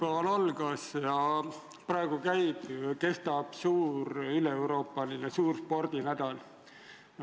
Esmaspäeval algas ja praegu kestab üleeuroopaline suur spordinädal.